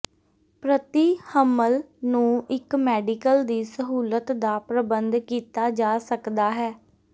ਪ੍ਰਤੀ ਹਮਲ ਨੂੰ ਇੱਕ ਮੈਡੀਕਲ ਦੀ ਸਹੂਲਤ ਦਾ ਪ੍ਰਬੰਧ ਕੀਤਾ ਜਾ ਸਕਦਾ ਹੈ